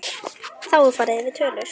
Þá er farið yfir tölur.